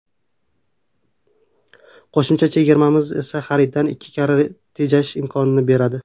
Qo‘shimcha chegirmamiz esa xariddan ikki karra tejash imkonini beradi.